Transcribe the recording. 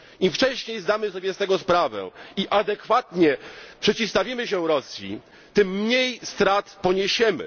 Im wcześniej zdamy sobie z tego sprawę i adekwatnie przeciwstawimy się Rosji, tym mniej strat poniesiemy.